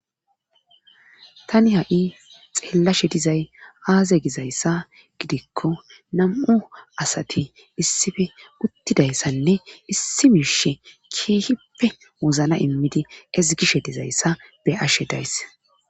tani ha7i xeellashe dizay aaze gizayssa gidikko nam7u asati issife uttidayssanne issi mirshe kiehippe wozna immidi ezgishe dizayssa be ashe daysse